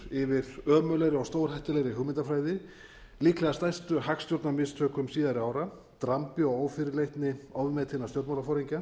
yfir ömurlegri og stórhættulegri hugmyndafræði líklega stærstu hagstjórnarmistökum síðari ára drambi og ófyrirleitni ofmetinna stjórnmálaforingja